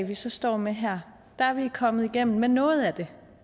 vi så står med her er vi kommet igennem med noget af det